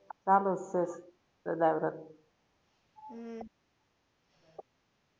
ચાલુ જ છે સદાવ્રત હમ